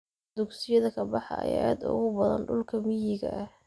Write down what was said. Dugsiyada ka baxa ayaa aad ugu badan dhulka miyiga ah.